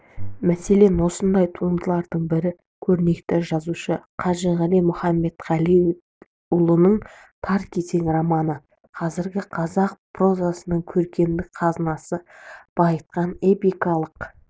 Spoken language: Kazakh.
мәселен осындай туындылардың бірі көрнекті жазушы қажығали мұхамбетқалиұлының тар кезең романы қазіргі қазақ прозасының көркемдік қазынасын байытқан эпикалық